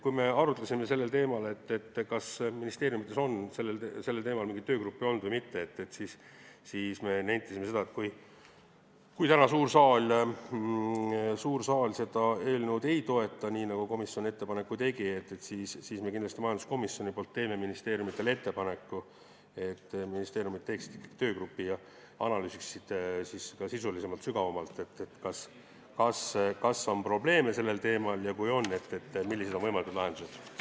Kui me arutlesime sellel teemal, kas ministeeriumides on sel teemal mingeid töögruppe olnud või mitte, siis me nentisime, et kui täna suur saal seda eelnõu ei toeta, nii nagu komisjon ettepaneku tegi, siis kindlasti majanduskomisjon teeb ministeeriumidele ettepaneku, et nad teeksid töögrupi ja analüüsiksid sisulisemalt ja sügavamalt, kas on probleeme sellel teemal, ja kui on, siis millised on võimalikud lahendused.